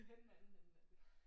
Det er den anden ende af det